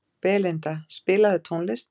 Belinda, spilaðu tónlist.